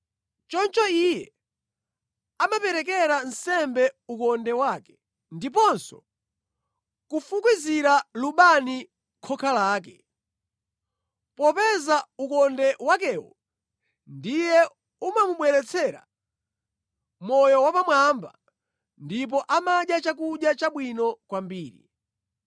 Choncho iye amaperekera nsembe ukonde wake ndiponso kufukizira lubani khoka lake, popeza ukonde wakewo ndiye umamubweretsera moyo wapamwamba ndipo amadya chakudya chabwino kwambiri.